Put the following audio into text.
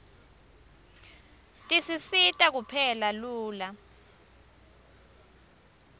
tisisita kupheka lula